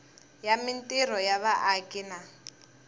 ya mintirho ya vaaki na